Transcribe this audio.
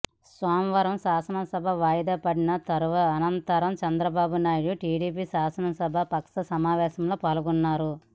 సోమవారం శాసన సభ వాయిదా పడిన అనంతరం చంద్రబాబు నాయుడు టీడీపీ శాసనసభా పక్ష సమావేశంలో పాల్గొన్నారు